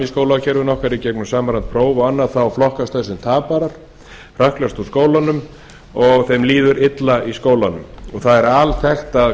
í skólakerfi okkar í gegnum samræmd próf og annað flokkast þeir sem taparar og hrökklast úr skólanum og líður illa þar það er alþekkt að